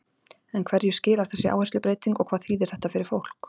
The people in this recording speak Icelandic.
En hverju skilar þessi áherslubreyting og hvað þýðir þetta fyrir fólk?